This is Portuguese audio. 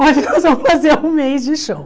Nós vamos fazer um mês de show.